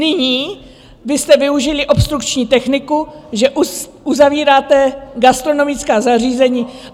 Nyní vy jste využili obstrukční techniku, že uzavíráte gastronomická zařízení.